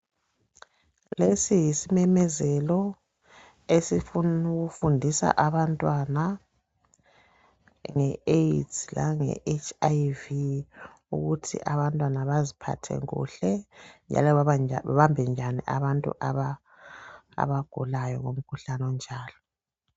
Lesi yisimemezelo esifuna ukufundisa abantwana nge AIDS lange HIV ukuthi abantwana baziphathe kuhle njalo babambe njani abantu abagulayo ngomkhuhlane onjalo.